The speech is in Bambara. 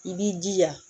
I b'i jija